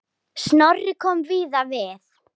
Snorri kom víða við.